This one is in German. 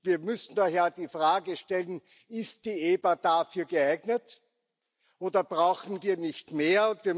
Wir müssen daher die Frage stellen Ist die EBA dafür geeignet, oder brauchen wir nicht mehr?